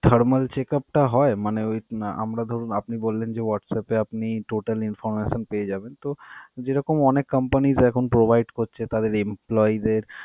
thermal checkup টা হয়? মানে ওই আমরা ধরুন আপনি বললেন যে WhatsApp এ আপনি total information পেয়ে যাবেন, তো যেরকম অনেক companies এখন provide করছে তাদের employee দের.